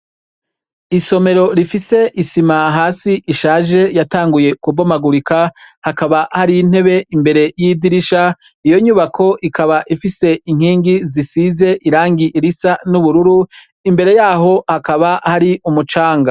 Isomero rifise isima hasi ishaje yatanguye kubomagurika hakaba hari ntebe imbere y'idirisha, iyo nyubako ikaba ifise inkingi zisize irangie irisa n'ubururu, imbere yaho hakaba hari umucanga.